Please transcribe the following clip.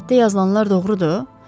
Qəzetdə yazılanlar doğrudur?